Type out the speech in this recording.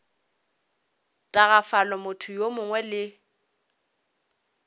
tagafala motho yo mongwe le